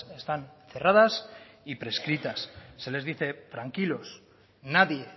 están cerradas y prescritas se les dice tranquilos nadie